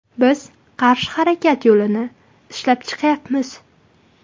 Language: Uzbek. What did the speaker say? Biz qarshi harakat yo‘lini ishlab chiqyapmiz.